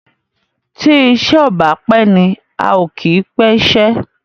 tí iṣé o bá pé ní ào kí pé iṣé.